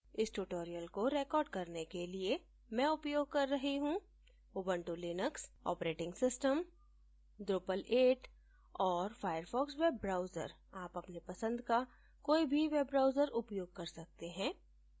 इस tutorial को record करने के लिए मैं उपयोग कर रही हूँ Ubuntu Linux operating system drupal 8 और firefox वेब ब्राउजर आप अपने पसंद का कोई भी वेब ब्राउजर उपयोग कर सकते हैं